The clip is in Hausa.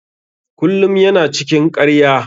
Kullum ya na cikin ƙarya.